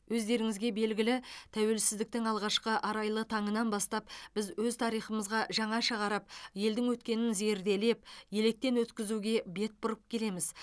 өздеріңізге белгілі тәуелсіздіктің алғашқы арайлы таңынан бастап біз өз тарихымызға жаңаша қарап елдің өткенін зерделеп електен өткізуге бет бұрып келеміз